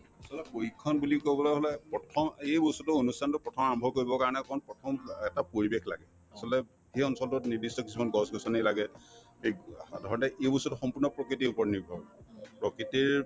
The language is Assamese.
আচলত প্ৰশিক্ষণ বুলি কবলৈ হলে প্ৰথম এই বস্তুতো অনুষ্ঠানতো প্ৰথম আৰম্ভ কৰিবৰ কাৰণে অকনমান প্ৰথম অ এটা পৰিৱেশ লাগে আচলতে সেই অঞ্চলতোত নিৰ্দ্দিষ্ট কিছুমান গছ-গছনি লাগে অ সাধাৰণতে এই বস্তুতো সম্পূৰ্ণ প্ৰকৃতিৰ ওপৰত নিৰ্ভৰ প্ৰকৃতিৰ